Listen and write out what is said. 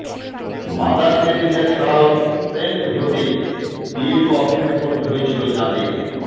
mother Teresa ছাড়াও saint হতে দীর্ঘ অপেক্ষা করতে হয়েছিল যাঁদের